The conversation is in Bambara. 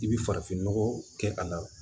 I bɛ farafinnɔgɔ kɛ a la